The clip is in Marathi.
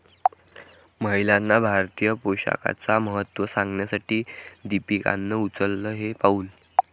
महिलांना भारतीय पोशाखाचं महत्त्व सांगण्यासाठी दीपिकानं उचललं हे पाऊल